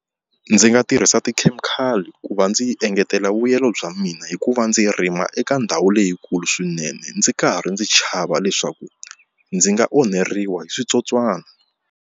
Ndzi nga tirhisa tikhemikhali ku va ndzi engetela vuyelo bya mina hi ku va ndzi rima eka ndhawu leyikulu swinene ndzi karhi ndzi chava leswaku ndzi nga onheriwa hi switsotswana.